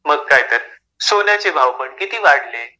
मग काय तर. सोन्याचे भाव पण, किती वाढलेत.